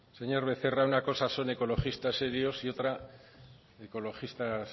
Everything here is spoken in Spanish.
señor becerra una cosa son ecologistas serios y otra ecologistas